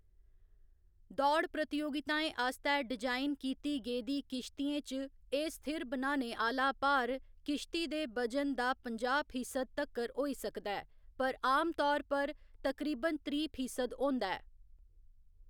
दौड़ प्रतियोगिताएं आस्तै डिजाइन कीती गेदी किश्तियें च एह्‌‌ स्थिर बनाने आह्‌‌‌ला भार किश्ती दे वजन दा पंजाह्‌ फीसद तक्कर होई सकदा ऐ, पर आमतौर पर तकरीबन त्रीह्‌ फीसद होंदा ऐ।